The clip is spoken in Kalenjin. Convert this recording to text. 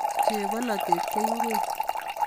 Chebololet ko ngwek